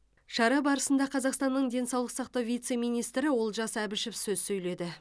шара барысында қазақстанның денсаулық сақтау вице министрі олжас әбішев сөз сөйледі